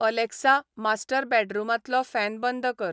Alexa, master बॅडरुमांतलो fan बंद कर